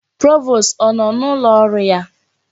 Provost ọ nọ n'ụlọ ọrụ ya?